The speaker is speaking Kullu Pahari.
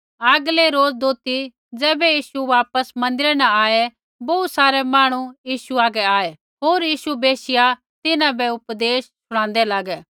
आगलै रोज़ दोथी ज़ैबै यीशु वापस मन्दिरा न आऐ बोहू सारै मांहणु यीशु हागै आऐ होर यीशु बैशिया तिन्हां बै उपदेश शूणादै लागै